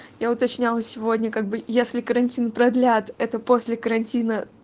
я уточняла сегодня как бы если карантин продлят это после карантина